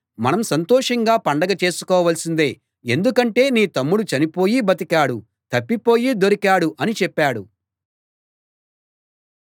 మనం సంతోషంగా పండగ చేసుకోవాల్సిందే ఎందుకంటే నీ తమ్ముడు చనిపోయి బతికాడు తప్పిపోయి దొరికాడు అని చెప్పాడు